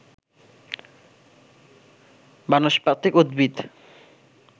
বানস্পতিক উদ্ভিদ